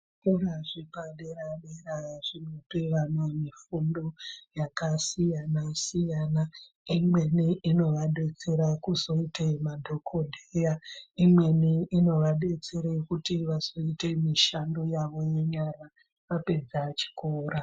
Zvikora zvepadera-dera zvinopa vana mifundo yakasiyana-siyana. Imweni inovabetsera kuzoite madhogobheya, imweni inovabetsera kuti vazoite mishando yavo yenyara vapedza chikora.